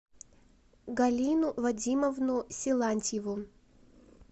галину вадимовну силантьеву